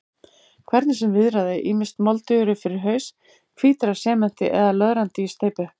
Hvernig sem viðraði, ýmist moldugir upp fyrir haus, hvítir af sementi eða löðrandi í steypu.